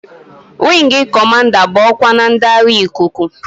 Weegi Cọmanda bụ ọkwa na ndị agha ikuku.